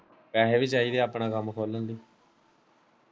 ਪੈਸੇ ਵੀ ਚਾਹੀਦੇ ਹੈ ਆਪਣਾ ਕੰਮ ਖੋਲਣ ਲਈ